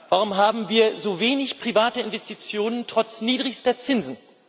Warum haben wir so wenig private Investitionen trotz niedrigster Zinsen?